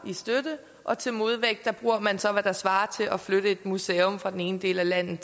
i støtte og til modvægt bruger man så hvad der svarer til at flytte et museum fra den ene del af landet